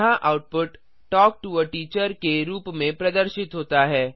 यहाँ output talk to a teacher के रूप में प्रदर्शित होता है